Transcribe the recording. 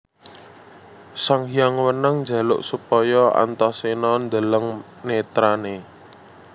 Sanghyang Wenang njaluk supaya Antaséna ndeleng netrané